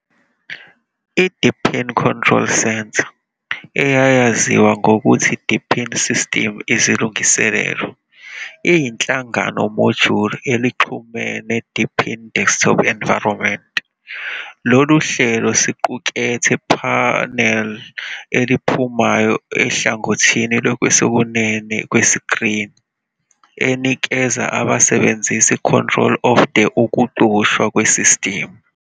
I-Deepin Control Center, eyayaziwa ngokuthi Deepin System Izilungiselelo, iyinhlangano module elixhumene Deepin Desktop Environment. Lolu hlelo siqukethe panel eliphumayo ohlangothini lwesokunene kwesikrini, enikeza abasebenzisi control of the ukucushwa kwesistimu.